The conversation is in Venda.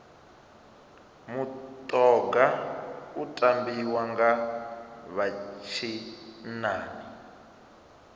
mutoga u tambiwa nga vha tshinnani